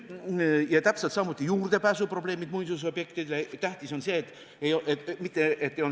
Täpselt sama võib öelda muinsusobjektidele juurdepääsu probleemide kohta.